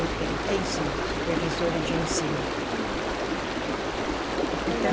Ou tem, tem sim, supervisora de ensino. Uhum.